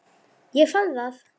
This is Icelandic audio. Ég fann það!